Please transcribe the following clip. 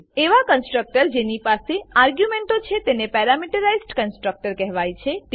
એવા કન્સ્ટ્રકટર જેની પાસે આર્ગ્યુંમેંટો છે તેને પેરામીટરાઈઝ્ડ કન્સ્ટ્રકટર કહેવાય છે